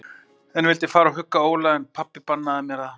Ég vildi fara og hugga Óla, en pabbi bannaði mér það.